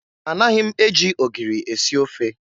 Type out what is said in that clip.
Anaghị m eji ogiri esi ofe.